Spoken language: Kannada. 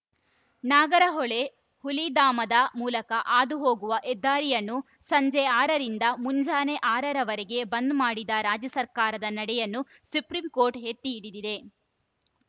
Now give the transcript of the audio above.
ನಾಗರಹೊಳೆ ಹುಲಿ ಧಾಮದ ಮೂಲಕ ಹಾದು ಹೋಗುವ ಹೆದ್ದಾರಿಯನ್ನು ಸಂಜೆ ಆರರಿಂದ ಮುಂಜಾನೆ ಆರರವರೆಗೆ ಬಂದ್‌ ಮಾಡಿದ ರಾಜ್ಯ ಸರ್ಕಾರದ ನಡೆಯನ್ನು ಸುಪ್ರೀಂ ಕೋರ್ಟ್‌ ಎತ್ತಿ ಹಿಡಿದಿದೆ